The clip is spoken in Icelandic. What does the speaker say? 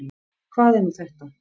Hvað er nú þetta?